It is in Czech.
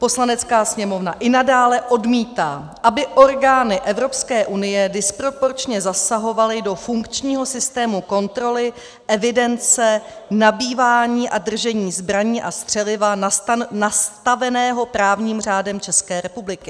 Poslanecká sněmovna i nadále odmítá, aby orgány Evropské unie disproporčně zasahovaly do funkčního systému kontroly, evidence, nabývání a držení zbraní a střeliva nastaveného právním řádem České republiky."